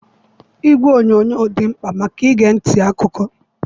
Igwe onyonyo dị mkpa maka ige ntị akụkọ.